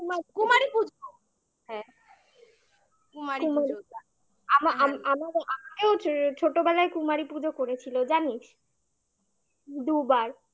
কুমারী পুজো হ্যাঁ কুমারী পুজা ছোটবেলায় কুমারী পুজো করেছিল জানিস দুবার